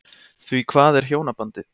Því hvað er hjónabandið?